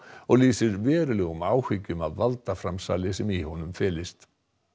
og lýsir verulegum áhyggjum af valdaframsali sem í honum felist